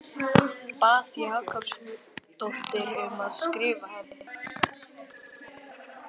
Bað Huldu Jakobsdóttur um að skrifa henni.